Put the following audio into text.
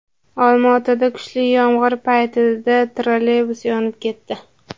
Olma-otada kuchli yomg‘ir paytida trolleybus yonib ketdi.